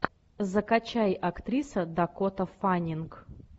закачай актриса дакота фаннинг